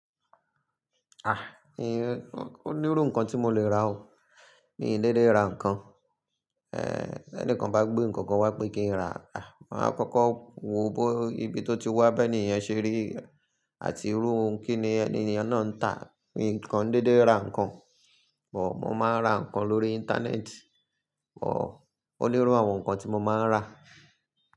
Ò nírú nǹkan tí mo lè rà o, mi ò n dédé ra nǹkan. B'ẹníkan bá gbé nǹkankan wá pé kí n ra, máa kọ́kọ́ wo bó ibi tó ti wá, bí ènìyàn ṣe rí àti irú ohun kíni ènìyàn náà ń tà. Mi kan n dédé ra nǹkan, mó máa ń ra nǹkan lórí Íńtánẹ́ẹ̀tì, ó nírú àwọn nǹkan tí mo máa ń rà.